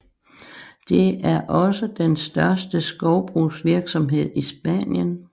Det er også den største skovbrugsvirksomhed i Spanien